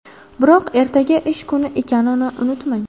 Biroq ertaga ish kuni ekanini unutmang!